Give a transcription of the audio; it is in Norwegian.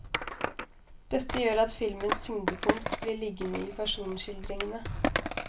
Dette gjør at filmens tyngdepunkt blir liggende i personskildringene.